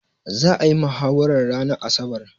Za'a yi mahawarar ranar asabar.